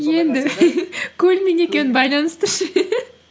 енді көлмен екеуін байланыстыршы